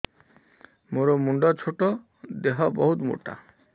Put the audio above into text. ମୋର ମୁଣ୍ଡ ଛୋଟ ଦେହ ବହୁତ ମୋଟା